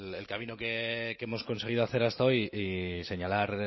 el camino que hemos conseguido hacer hasta hoy y señalar